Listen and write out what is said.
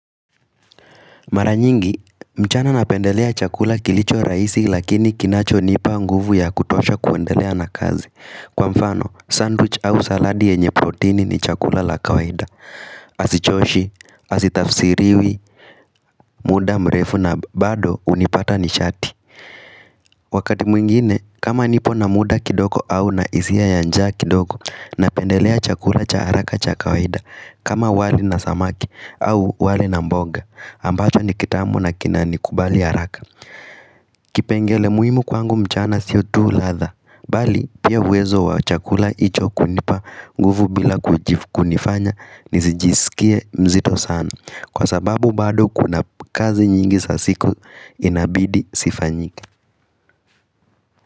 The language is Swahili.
Mara nyingi, mchana napendelea chakula kilicho rahisi lakini kinacho nipa nguvu ya kutosha ya kuendelea na kazi. Kwa mfano, sandwich au saladi yenye proteini ni chakula la kawaida. Hasichoshi, hasitafsiriwi, muda mrefu na bado hunipata ni sharti. Wakati mwingine, kama nipo na muda kidoko au na hisia ya njaa kindogo na pendelea chakula cha haraka cha kawaida kama wali na samaki au wali na mboga, ambacho ni kitamu na kinanikubali haraka Kipengele muhimu kwangu mchana sio tu ladha Bali, pia uwezo wa chakula hicho kunipa nguvu bila kunifanya nisijisikie mzito sana Kwa sababu bado kuna kazi nyingi za siku inabidi zifanyike.